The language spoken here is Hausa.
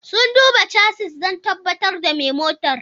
Sun duba chassis don tabbatar da mai motar.